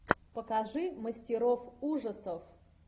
покажи мастеров ужасов